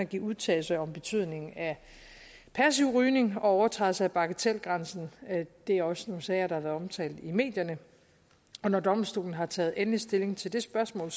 give udtalelse om betydningen af passiv rygning og overtrædelse af bagatelgrænsen det er også nogle sager der har været omtalt i medierne når domstolen har taget endelig stilling til det spørgsmål